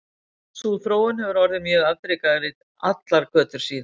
Sú þróun hefur orðið mjög afdrifarík allar götur síðan.